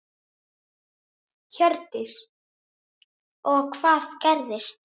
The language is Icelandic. Hjördís: Og hvað gerðist?